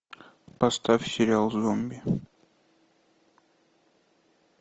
поставь сериал зомби